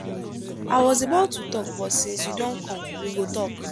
i was about to rest but since you don come we go talk.